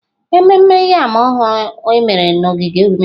Ememme yam ọhụrụ a mere na ogige omenala.